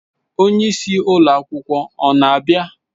Onye isi ụlọ akwụkwọ ọ na-abịa?